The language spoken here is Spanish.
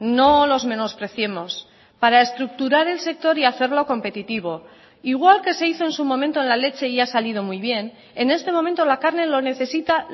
no los menospreciemos para estructurar el sector y hacerlo competitivo igual que se hizo en su momento en la leche y ha salido muy bien en este momento la carne lo necesita